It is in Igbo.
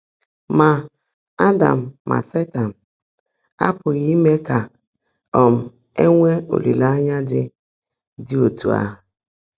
Mà Ádám mà Sétan ápughị́ íme kà um è nwèé ólìléényá ḍị́ ḍị́ ọ́tú́ áhụ́.